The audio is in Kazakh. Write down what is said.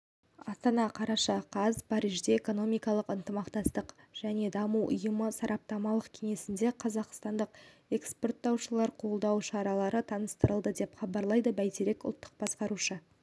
астана қараша қаз парижде экономикалық ынтымақтастық және даму ұйымы сараптамалық кеңесінде қазақстандық экспорттаушыларды қолдау шаралары таныстырылды деп хабарлайды бәйтерек ұлттық басқарушы